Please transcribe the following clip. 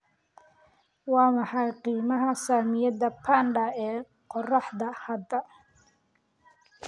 Waa maxay qiimaha saamiyada panda ee qorraxda hadda?